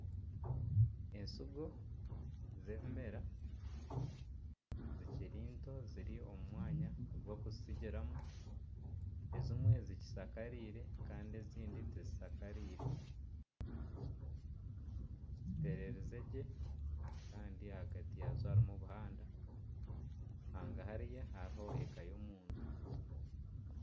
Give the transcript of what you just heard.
Ensigo z'ebimera zikiri nto ziri omumwanya ogu barikuzisigiramu ezimwe zikishakariire Kandi nana ezindi tizishakariire ziterwriizegye Kandi ahagati yaazo hariho omuhanda kandi hangahari hariho eka yomuntu